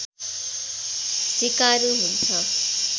सिकारु हुन्छ